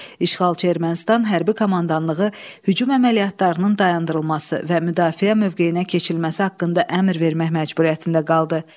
İşğalçı Ermənistan hərbi komandanlığı hücum əməliyyatlarının dayandırılması və müdafiə mövqeyinə keçirilməsi haqqında əmr vermək məcburiyyətində qaldı.